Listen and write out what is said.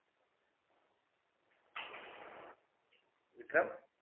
Vikram